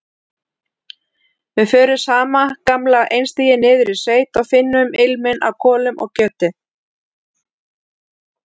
Við förum sama gamla einstigið niður í sveit og finnum ilminn af kolum og kjöti.